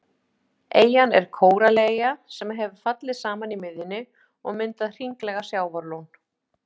Eyjan er kórallaeyja sem hefur fallið saman í miðjunni og myndað hringlaga sjávarlón.